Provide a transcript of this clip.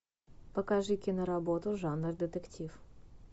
покажи киноработу жанра детектив